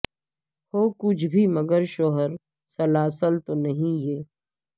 ہو کچھ بھی مگر شور سلاسل تو نہیں یہ